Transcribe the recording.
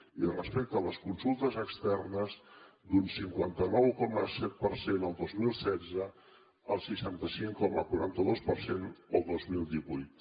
i respecte a les consultes externes d’un cinquanta nou coma set el dos mil setze al seixanta cinc coma quaranta dos per cent el dos mil divuit